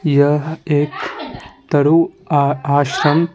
यह एक तरु आ आश्रम --